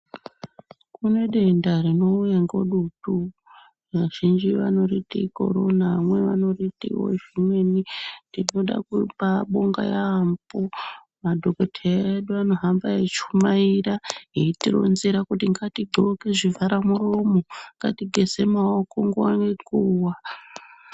Kune denda tinouya ngedutu. Vazhinji vanoriti korona. Vamwe niwo vanoriti zvimweniwo. Tinode kubaatenda yaamho madhokodheya edu anohamba achichumaira eitironzera kuti ngatidloke zvivhare muromo, ngatigeze nyara nguwa ngenguwa.